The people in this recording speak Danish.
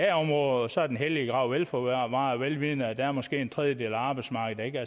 da området og så er den hellige grav velforvaret velvidende at der måske er en tredjedel af arbejdsmarkedet der